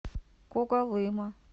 когалыма